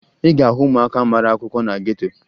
Ị ga-ahụ ụmụaka mara akwụkwọ na geto